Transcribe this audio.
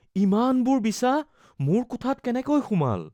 ইমানবোৰ বিছা মোৰ কোঠাত কেনেকৈ সোমাল?